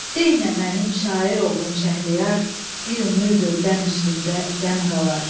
Dey nə mənim şair oğlum Şəhriyar, bir ömürdür qəm üstündə qəm qalar.